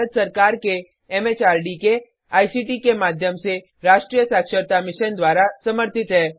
यह भारत सरकार के एमएचआरडी के आईसीटी के माध्यम से राष्ट्रीय साक्षरता मिशन द्वारा समर्थित है